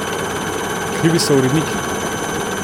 Krivi so uredniki.